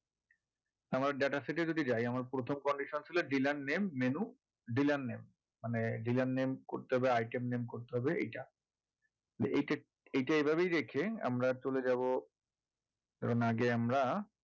আমাদের data set এ যদি যাই আমার প্রথম condition ছিল dealer name menu dealer name মানে dealer name করতে হবে item name করতে হবে এইটা এই~ এইটা এইভাবেই রেখে আমরা চলে যাবো উম আগে আমরা